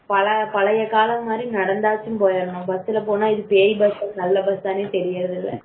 பல பழைய காலம் மாதிரி நடந்து நடந்தாச்சும் போயிரணும் பஸ்ல போனா இது பேய் பஸ்ஸா நல்ல பசன்னு தெரியது